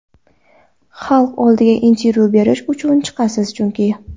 Xalq oldiga intervyu berish uchun chiqasiz chunki.